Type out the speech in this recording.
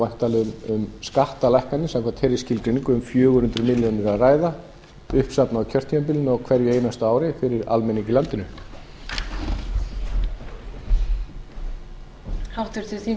væntanlega um skattalækkanir samkvæmt þeirri skilgreiningu um fjögur hundruð milljóna króna að ræða uppsafnað á kjörtímabilinu á hverju einasta ári fyrir almenning í landinu